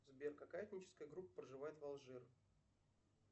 сбер какая этническая группа проживает в алжир